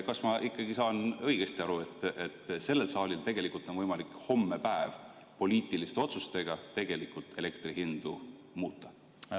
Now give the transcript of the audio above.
Kas ma saan õigesti aru, et sellel saalil tegelikult on võimalik hommepäev poliitiliste otsustega elektrihindu muuta?